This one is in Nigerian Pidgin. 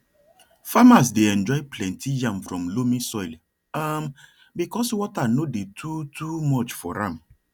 farmers dey enjoy plenty yam from loamy soil um because water no dey too too much for am